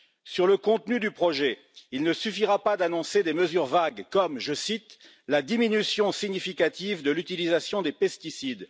Sur le contenu du projet, il ne suffira pas d'annoncer des mesures vagues comme, je cite, la diminution significative de l'utilisation des pesticides